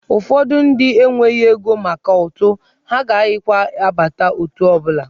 Ụfọdụ ndị enweghị ego maka ụtụ, ha agaghịkwa abata otù ọ bụla.